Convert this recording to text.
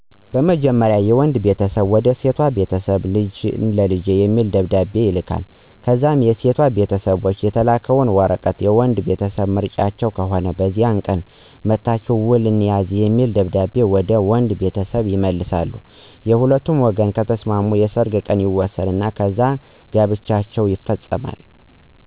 መጀመርያ የወንድ ቤተሰብ ወደ ሴቷ ቤተሰብ ልጅህን ለልጀ የሚል ደብደቤ ይልካሉ ከዛ የሴቷ ቤተሰቦች የተላከው ወረቀት/የወንዱ ቤተሰብ ምርጫቸው ከሆነ በዚህ ቀን መጠቻሁ ውል እንያዝ የሚል ደብደቤ ወደ ወንዱ ቤተሰብ የመልሳሉ የሁለቱም ወገን ከተሰማሙ የሰርግ ቀን ይወሰናል ከዛ ጋብቻው ይፈፀማል።